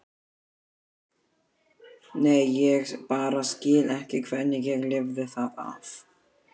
Nei, ég bara skil ekki hvernig ég lifði það af.